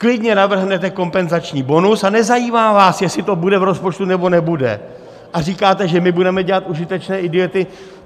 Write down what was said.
Klidně navrhnete kompenzační bonus a nezajímá vás, jestli to bude v rozpočtu nebo nebude, a říkáte, že my budeme dělat užitečné idioty.